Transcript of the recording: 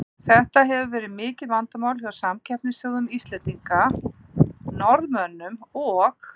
Þetta hefur verið mikið vandamál hjá samkeppnisþjóðum Íslendinga, Norðmönnum og